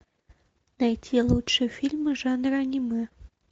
найти лучшие фильмы жанра аниме